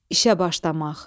İşə başlamaq.